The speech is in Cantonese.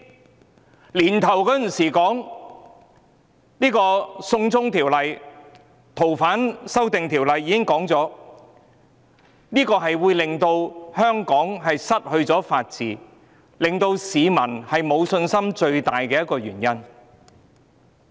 今年年初，我們已指出修訂《逃犯條例》會令香港失去法治，亦是令市民失去信心的最大原因。